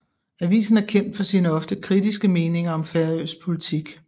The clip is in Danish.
Avisen er kendt for sine ofte kritiske meninger om færøsk politik